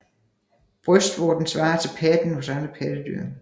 Brystvorten svarer til patten hos andre pattedyr